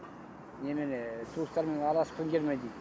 немене туыстарыңмен араласқың келмейді ме дейді